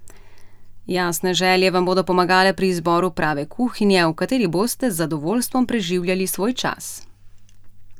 Jasne želje vam bodo pomagale pri izboru prave kuhinje, v kateri boste z zadovoljstvom preživljali svoj čas.